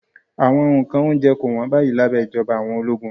Awọn nkan ounjẹ ko won bayi labẹ ijọba awọn ologun